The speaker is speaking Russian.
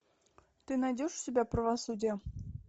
ты найдешь у себя правосудие